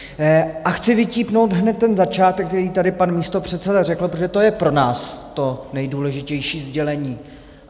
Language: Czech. A chci vytípnout hned ten začátek, který tady pan místopředseda řekl, protože to je pro nás to nejdůležitější sdělení.